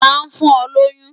ta n fún o loyún?